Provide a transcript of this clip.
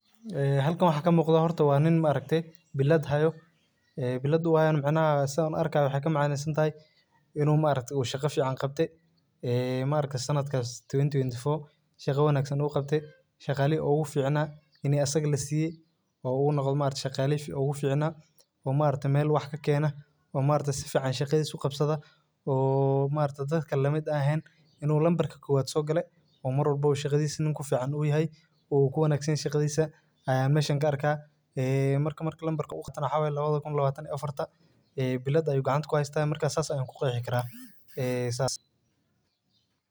Ee halkan waxa ka muuqda waa nin ma aragte billad haayo ,ee billlada uu haayo macna waxey ka macnesantahay inuu ma aragte uu shaqa fiican uu qabte ee maaragte sanadkaas twenty twenty four shaqa fiican uu qabte. Shaqalaihi ugu fiicnaa ini asaga la siiye uu noqde shaqalihi ugu fiicnaa oo maaragte meel fiican ka gaar uu ku wanagsan yahay shaqadiisa ayaa messhan ka arkaa ee lambarka na waxa waye lawada kun iyo lawatan iyo affarta ee billad ayuu gacan kuheystaa ee marka saas ayaan ku qeexi karaa,